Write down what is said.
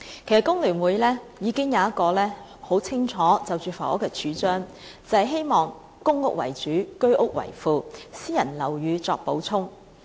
其實工聯會就房屋方面已經有很清楚的主張，便是希望以公共房屋為主，居者有其屋計劃為副，私人樓宇作補充。